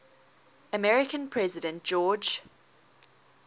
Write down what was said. american president george